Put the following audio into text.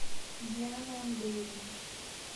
диана андреевна